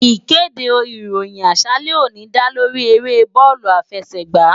Ìkéde ìròyìn àṣálẹ́ òní dá lóríi eré bóòlù àfẹsẹ̀gbá